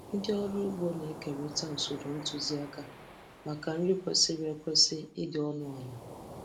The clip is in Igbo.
Ndị ọrụ ugbo na-ekerịta usoro ntụzịaka maka nri kwesịrị ekwesị dị ọnụ ala.